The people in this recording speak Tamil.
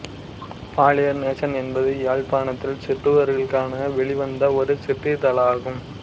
பாலியர் நேசன் என்பது யாழ்ப்பாணத்தில் சிறுவர்களுக்காக வெளிவந்த ஒரு சிற்றிதழாகும்